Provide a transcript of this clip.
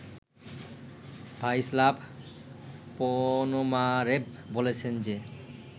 Vyacheslav Ponomarev বলেছেন যে